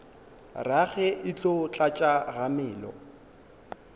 rage e tlo tlatša kgamelo